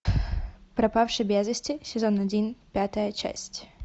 пропавший без вести сезон один пятая часть